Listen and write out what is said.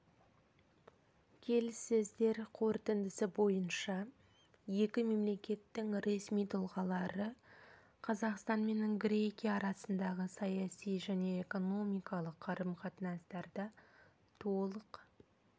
келіссөздер қорытындысы бойынша екі мемлекеттің ресми тұлғалары қазақстан мен грекия арасындағы саяси және экономикалық қарым-қатынастарда толық